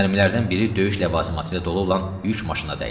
Mərmilərdən biri döyüş ləvazimatı ilə dolu olan yük maşınına dəydi.